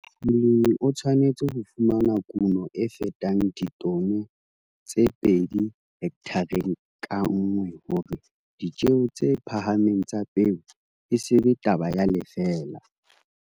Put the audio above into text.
Molemi o tshwanetse ho fumana kuno e fetang ditone tse pedi hekthareng ka nngwe hore ditjeo tse phahameng tsa peo e se be taba ya lefeela.